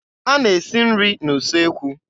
A na-esi nri n'usekwu.